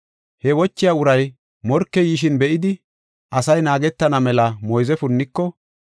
He wochiya uray morkey yishin be7idi, asay naagetana mela moyze punniko,